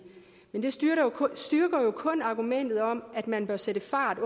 men det styrker styrker jo kun argumentet om at man bør sætte fart